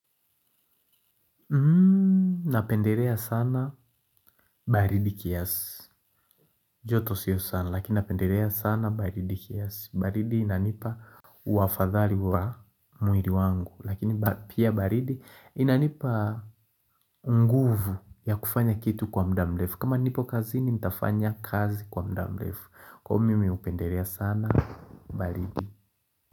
Napenderea sana baridi kiasi. Joto siyo sana, lakini napenderea sana baridi kiasi. Baridi inanipa uafadhali wa muiri wangu. Lakini pia baridi inanipa nguvu ya kufanya kitu kwa mda mlefu. Kama nipo kazini nitafanya kazi kwa mda mlefu. Kwa hio mimi upenderea sana baridi.